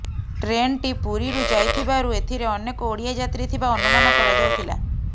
ଟ୍ରେନ୍ଟି ପୁରୀରୁ ଯାଇଥିବାରୁ ଏଥିରେ ଅନେକ ଓଡିଆ ଯାତ୍ରୀ ଥିବା ଅନୁମାନ କରାଯାଉଥିଲା